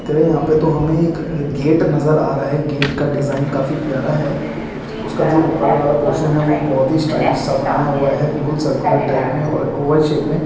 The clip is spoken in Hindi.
यहाँ पे तो हमें एक गेट नजर आ रहा है गेट का डिज़ाइन काफी प्यारा है उसका जो ऊपर वाला उस उसका जो ऊपर वाला पोरशन है वो बहुत ही स्टाइलिश सा बनाया हुआ है बिल्कुल सर्कुलर टाइप में और औवल शेप में--